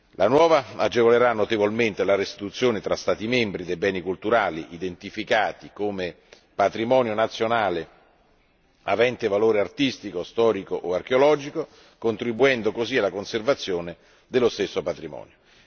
La nuova direttiva agevolerà notevolmente la restituzione fra Stati membri dei beni culturali identificati come patrimonio nazionale avente valore artistico, storico o archeologico, contribuendo così alla conservazione dello stesso patrimonio.